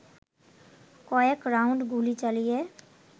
কয়েক রাউন্ড গুলি চালিয়ে